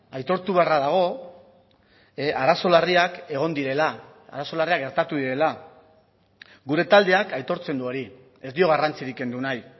aitortu beharra dago arazo larriak egon direla arazo larriak gertatu direla gure taldeak aitortzen du hori ez dio garrantzirik kendu nahi